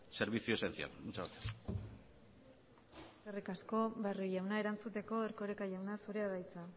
servicio esencial muchas gracias eskerrik asko barrio jauna erantzuteko erkoreka jauna zurea da hitza